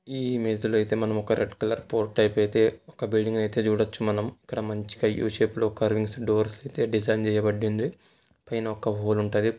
ఈ ఇమేజ్ లో అయితే మనం ఒక రెడ్ కలర్ ఫోట్ టైపు అయితే ఒక బిల్డింగ్ అయితే చూడొచ్చు మనం ఇక్కడ మంచిగా యు షేప్ లో కార్వింగ్ డోర్స్ డిజైన్ చేయబడింది పై న ఒక హోల్ ఉంటది.